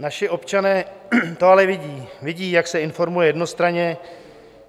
Naši občané to ale vidí, vidí, jak se informuje jednostranně,